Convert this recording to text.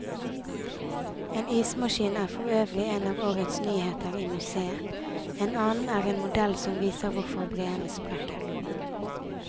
En ismaskin er for øvrig en av årets nyheter i museet, en annen er en modell som viser hvorfor breene sprekker.